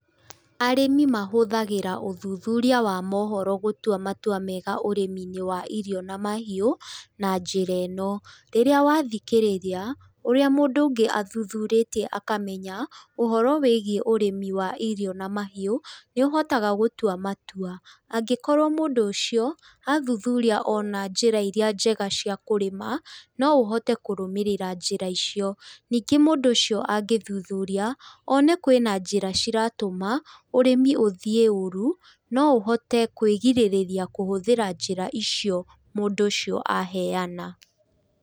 Arĩmĩ mahũthagĩra ũthuthuria wa mohoro gũtua matua mega ũrĩminĩ wa irio na mahiũ na njĩra ĩno, rĩrĩa wathikĩrĩria ũrĩa mũndũ ũngĩ athuthurĩtie akamenya ũhoro wĩgiĩ ũrĩmi wa irio na mhiũ, nĩ ũhotaga gũtua matua. Angĩkorwo mũndũ athuthuria ona njĩra irĩa njega cia kũrĩma, no ũhote kũrũmĩrĩra njĩra icio. Ningĩ mũndũ ũcio angĩthuthuria, one kwĩna njĩra ciratũma ũrĩmi ũthiĩ ũru, no ũhũthĩre kwĩrigĩrĩria kũhũthĩra njĩra icio mũndũ ũcio aheana.